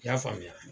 I y'a faamuya